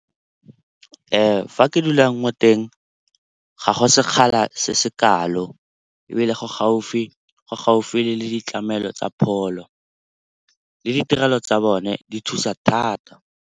Fa ke dulang mo teng ga go sekgala se se kalo ebile go gaufi le ditlamelo tsa pholo. Le ditirelo tsa bone di thusa thata.